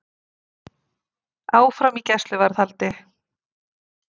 Áfram í gæsluvarðhaldi